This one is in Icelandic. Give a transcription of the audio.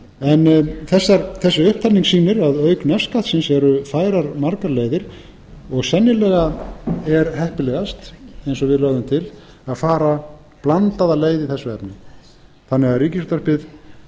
húshitunarmála þessi upptalning sýnir að auk nefskattsins eru færar margar leiðir og sennilega er heppilegast eins og við lögðum til að fara blandaða leið í þessu efni